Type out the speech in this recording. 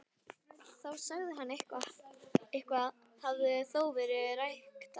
Þá sá hann að eitthvað hafði þó verið ræktað.